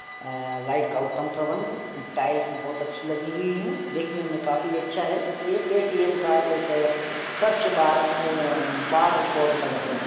अ light का उत्तम प्रबंध टाइल्स बहुत अच्छी लगी हुई है देखने में काफी अच्छा है एक पेटीएम का एक सर्च बार अ बार कोड लगा हुआ है।